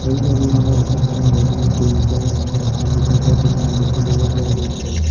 এই ছবিখনত এখন মেধিৰ বুক ষ্টল নামৰ এখন কিতাপৰ দোকান দেখিবলৈ পোৱা গৈছে।